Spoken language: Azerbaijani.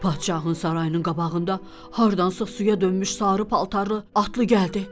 Padşahın sarayının qabağında hardansa suya dönmüş sarı paltarlı atlı gəldi.